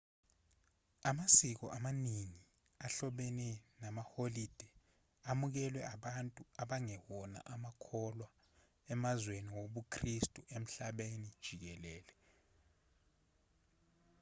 amasiko amaningi ahlobene namaholide amukelwe abantu abangewona amakholwa emazweni wobukhristu emhlabeni jikelele